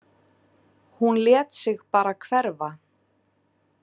Hún lét sig bara hverfa.